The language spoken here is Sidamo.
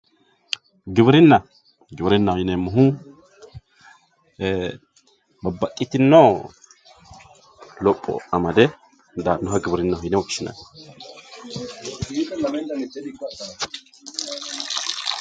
Giwirina giwirinahi yineemo woyite babaxitino hajjo haare daanoha giwirinaho yine woshinani